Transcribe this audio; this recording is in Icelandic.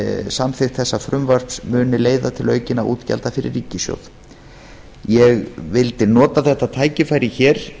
samþykkt þessa frumvarps muni leiða til aukinna útgjalda fyrir ríkissjóð ég vildi nota þetta tækifæri hér